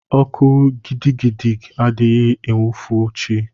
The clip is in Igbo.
Ọkụ gidigidi adịghị enwufo chi.